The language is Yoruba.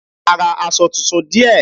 A ra aṣọ tuntun díẹ̀.